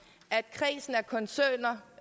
kredsen af koncerner